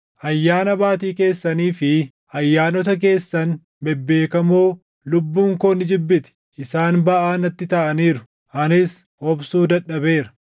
Ayyaana Baatii keessanii fi ayyaanota keessan bebbeekamoo lubbuun koo ni jibbiti. Isaan baʼaa natti taʼaniiru; anis obsuu dadhabeera.